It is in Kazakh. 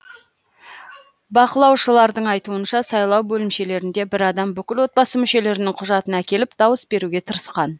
бақылаушылардың айтуынша сайлау бөлімшелерінде бір адам бүкіл отбасы мүшелерінің құжатын әкеліп дауыс беруге тырысқан